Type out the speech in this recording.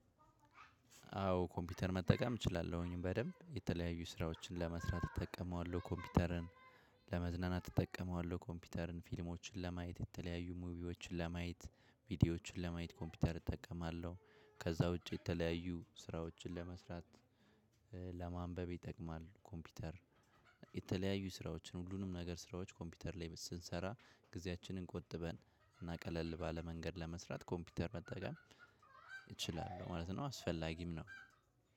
አዎ ኮምፒውተር መጠቀም እችላለሁኝ በደንብ የተለያዩ ስራዎችን ለመስራት እጠቀመዋለሁ ኮምፒውተርን ለመዝናናት እጠቀመዋለሁ ኮምፒውተርን ፊልሞችን ለማየት የተለያዩ ሙቪዎችን ለማየት ቪዲዮዎችን ለማየት ኮምፒውተር እጠቀማለሁ። ከዛ ውጪ የተለያዩ ስራዎችን ለመስራት ለማንበብ ይጠቅማል። ኮምፒውተር የተለያዩ ስራዎችን ሁሉንም ነገር ስራዎች ኮምፒውተር ላይ ስንሰራ ጊዜያችንን ቆጥበን እና ቀለል ባለ መንገድ ለመስራት ኮምፒውተር መጠቀም እችላለሁ ማለት ነው። አስፈላጊም ነው።